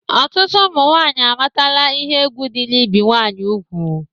Ọtụtụ ụmụ nwanyị amatala ihe egwu dị n'ibi ụmụ nwanyị ugwu